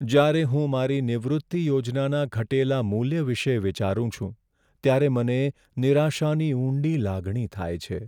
જ્યારે હું મારી નિવૃત્તિ યોજનાના ઘટેલા મૂલ્ય વિશે વિચારું છું ત્યારે મને નિરાશાની ઊંડી લાગણી થાય છે.